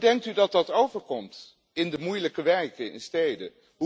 Hoe denkt u dat dat overkomt in de moeilijke wijken, in de steden?